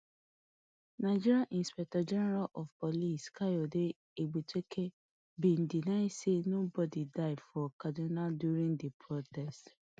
nigeria inspector general of police kayode egbetokun bin deny say anybodi die for kaduna during di protest